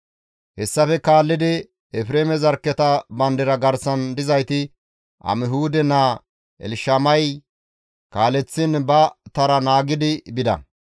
Hessafe kaallidi Efreeme zarkketa bandira garsan dizayti Amihuude naa Elshamay kaaleththiin ba tara naagidi bida.